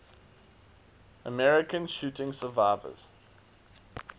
american shooting survivors